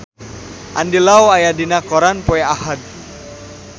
Andy Lau aya dina koran poe Ahad